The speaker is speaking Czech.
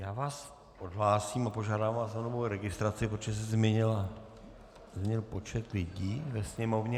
Já vás odhlásím a požádám vás o novou registraci, protože se změnil počet lidí ve Sněmovně.